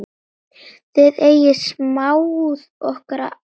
Þið eigið samúð okkar alla.